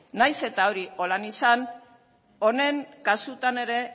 nahiz eta hori horrela izan honen kasutan ere